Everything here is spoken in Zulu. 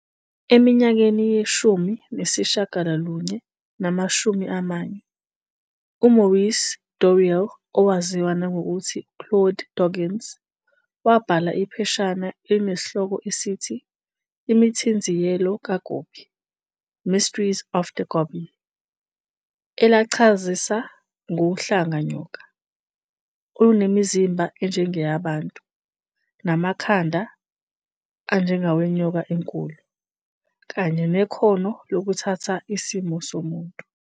Eminyakeni ye-1940, uMaurice Doreal, owaziwa nangokuthi u-Claude Doggins, wabhala ipheshana elinesihloko esithi "Imithinziyelo kaGobi", Mysteries of the Gobi," elachazisa "ngohlanga nyoka" olunemizimba enjengeyabantu.namakhanda.anjengawenyoka enkulu" kanye nekhono lokuthatha isimo somuntu.